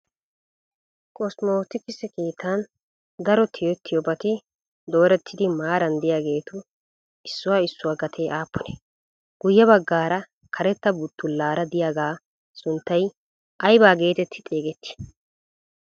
Kosmootikise keettan daro tiyettiyoobati doorettidi maaran diyageetu issuwa issuwa gatee aappunee? Guye baggaara karetta buttullaara diyaagaa sunttay ayiba geetetti xeegettii?